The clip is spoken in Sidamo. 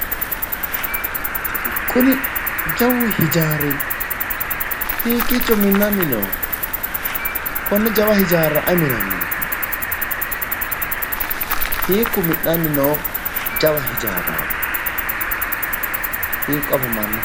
Kuni jawu hijaari hiikkicho minnanni nooho konne jawa hijaara ayi minanni no hiikku mi'nanni noo jawa hijaaraati hiikko afamannoho?